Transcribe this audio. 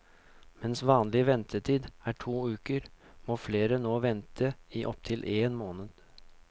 Mens vanlig ventetid er to uker, må flere nå vente i opptil en måned.